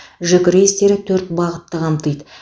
жүк рейстері төрт бағытты қамтиды